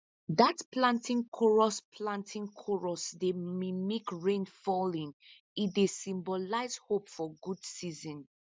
dat planting chorus planting chorus dey mimic rain falling e dey symbolize hope for a good season